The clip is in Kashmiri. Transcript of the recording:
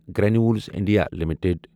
Granules India limited